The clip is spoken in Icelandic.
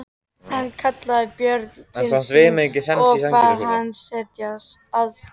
Hann kallaði Björn til sín og bað hann setjast.